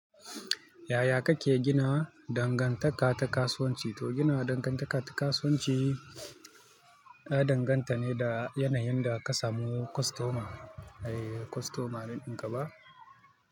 Yaya kake gina dangantaka ta kasuwanci? To gina dangantaka ta kasuwanci, ya danganta ne da yanayin da ka samu kostoma, eh kostoma range dinka ba.